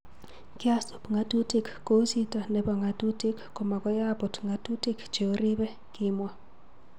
Kyasup ng'atutik, kou chito nepo ng'atutik ko makoi aput ngatutik cheoripei",kimwa